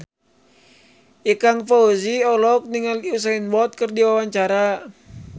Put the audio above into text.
Ikang Fawzi olohok ningali Usain Bolt keur diwawancara